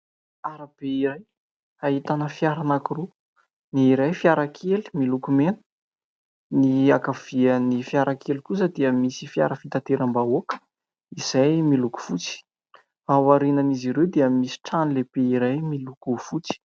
Arabe iray ahitana fiara anankiroa. Ny iray fiara kely miloko mena, ny ankaviany fiara kely kosa dia misy fiara fitateram-bahoaka izay miloko fotsy ; ao aorianan'izy ireo dia misy trano lehibe iray miloko fotsy.